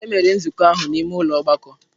Emere nzukọ ahụ n'ime ụlọ ọgbakọ.